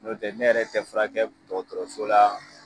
N'o tɛ ne yɛrɛ tɛ fura kɛ dɔgɔtɔrɔso la